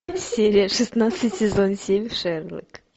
серия шестнадцать сезон семь шерлок